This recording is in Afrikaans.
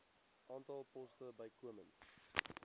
aantal poste bykomend